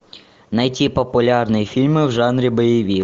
найти популярные фильмы в жанре боевик